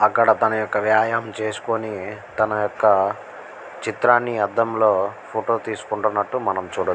అక్కడ తన యొక్క వ్యాయామం చేసుకొని తన యొక్క చిత్రాన్ని అద్దం లో ఫోటో తీసుకుంటున్నట్టు మనం చూడచ్చు.